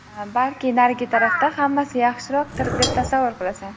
balki narigi tarafda hammasi yaxshiroqdir deb tasavvur qilasan.